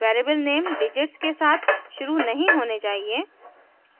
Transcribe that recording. variable name digits के साथ शुरू नहीं होने चाहिए